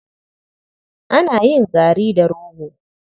Ana yin gari da rogo.